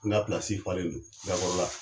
N ka pilasi falendo gakɔrɔla